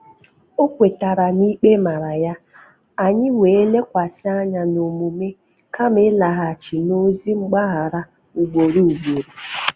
O kwetara na-ikpe mara ya, anyị wee lekwasị anya n’omume kama ịlaghachi n’ozị mgbaghara ugboro ugboro